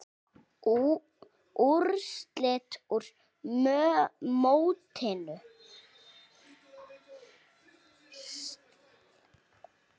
Úrslit úr mótinu